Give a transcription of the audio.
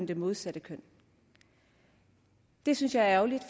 det modsatte køn det synes jeg er ærgerligt